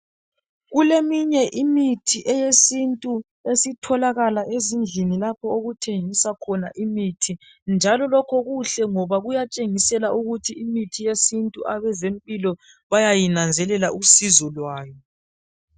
Kuleminye imithi eyesintu esitholakala ezindlini lapho okuthengiswa khona imithi. Njalo, lokho kuhle ngoba kuyatshengisela ukuthi imithi yesintu, abezempilo bayayinanzelela usizo lwayo.